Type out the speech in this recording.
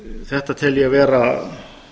þetta tel ég vera